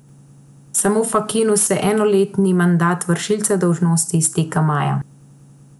Samu Fakinu se enoletni mandat vršilca dolžnosti izteka maja.